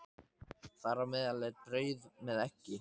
Þar á meðal er brauð með eggi.